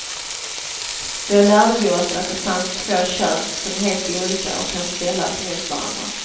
Då lärde vi oss att det finns två kön, som är helt olika och kan ställas mot varandra.